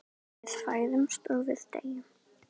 Við fæðumst og við deyjum.